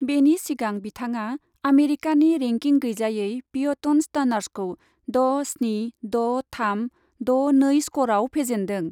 बेनि सिगां बिथाङा आमेरिकानि रेंकिं गैजायै पियटन स्टार्न्सखौ द' स्नि द' थाम, द' नै स्करआव फेजेन्दों ।